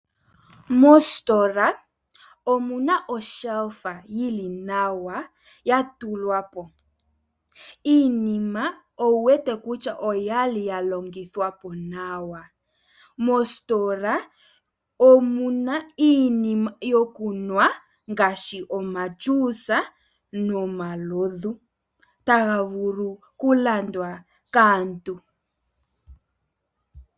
Mositola omuna olaaka dhili nawa. Iinima owu wete kutya oyali ya longithwa po nawa. Mosistola omuna iinima yokunwa ngaashi omeya giiyimati nomalovu. Otaga vulu oku landwa kaantu.